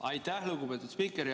Aitäh, lugupeetud spiiker!